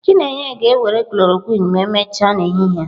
Chineye ga-ewere khlorokwin ma emechaa n'ehihie a.